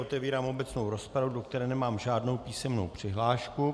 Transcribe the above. Otevírám obecnou rozpravu, do které nemám žádnou písemnou přihlášku.